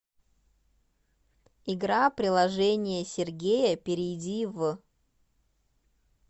игра приложение сергея перейди в